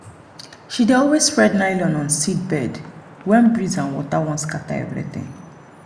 she dey always spread nylon on seed bed when breeze and water wan scatter everything.